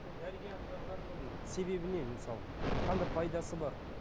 дәрігерге апарғанның себебі не мысалы